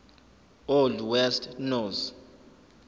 old west norse